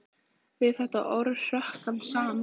Við þetta orð hrökk hann saman.